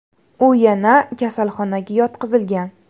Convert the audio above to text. U yana kasalxonaga yotqizilgan.